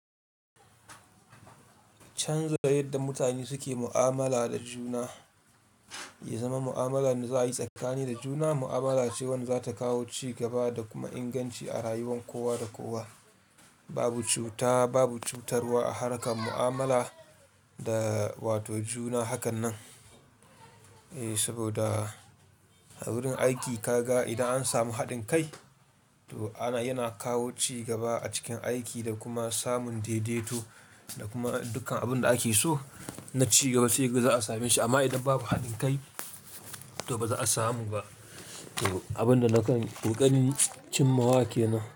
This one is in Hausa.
Canza yadda mutane suke mu'amala da juna, ya zama mu'amala da za a yi tsakani da juna. Mu'amala ce wadda za ta kawo ci gaba da kuma inganci a rayuwar kowa da kowa. Babu cuta Babu cutarwa a harkar mu'amala da wato juna hakan nan. Saboda a wurin aiki ka ga idan an samu haɗin kai, to yana kawo ci gaba a cikin aiki da kuma samun daidaito da kuma dukkan abin da ake so na cigaba sai gaba za a same shi amma idan babu haɗin kai to ba za a samu ba. To abin da nakan riƙanin cin mawake nan.